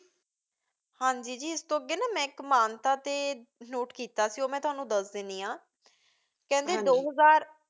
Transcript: ਹਾਂਜੀ, ਜੀ, ਇਸ ਤੋਂ ਅੱਗੇ ਮੈਂ ਇੱਕ ਮਾਨਤਾ 'ਤੇ note ਕੀਤਾ ਸੀ, ਉਹ ਮੈਂ ਤੁਹਾਨੂੰ ਦੱਸ ਦਿੰਦੀ ਹਾਂ, ਕਹਿੰਦੇ ਦੋ ਹਜ਼ਾਰ